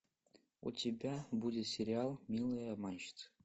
у тебя будет сериал милые обманщицы